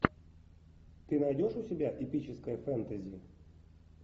ты найдешь у себя эпическое фэнтези